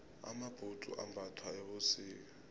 amabhudzu ambathwa ebusika